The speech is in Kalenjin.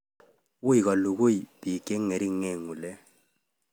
Wui kolugui eng piik cheng'ering ngulek